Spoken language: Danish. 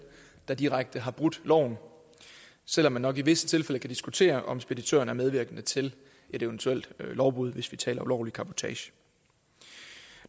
der direkte har brudt loven selv om man nok i visse tilfælde kan diskutere om speditøren er medvirkende til et eventuel lovbrud hvis vi taler om ulovlig cabotage